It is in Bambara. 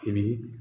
I bi